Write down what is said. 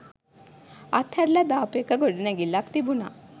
අත්හැරල දාපු එක ගොඩනැගිල්ලක් තිබුන